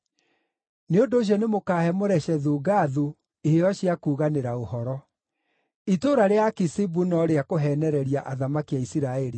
Nĩ ũndũ ũcio nĩmũkahe Moreshethu-Gathu iheo cia kuuganĩra ũhoro. Itũũra rĩa Akizibu no rĩa kũheenereria athamaki a Isiraeli.